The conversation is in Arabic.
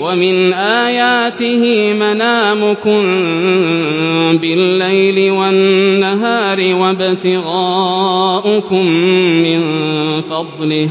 وَمِنْ آيَاتِهِ مَنَامُكُم بِاللَّيْلِ وَالنَّهَارِ وَابْتِغَاؤُكُم مِّن فَضْلِهِ ۚ